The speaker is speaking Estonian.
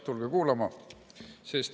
Tulge kuulama.